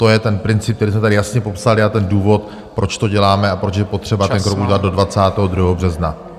To je ten princip, který jsme tady jasně popsali, a ten důvod, proč to děláme a proč je potřeba ten krok udělat do 22. března.